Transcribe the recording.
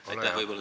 Aitäh!